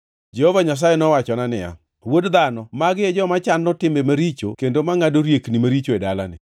Jehova Nyasaye nowachona niya, “Wuod dhano, magi e joma chano timbe maricho kendo mangʼado riekni maricho e dalani.